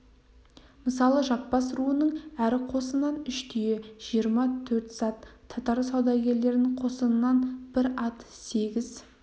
мысалы жаппас руының әр қосынан үш түйе жиырма төрт зат татар саудагерлерінің қосынан бір ат сегіз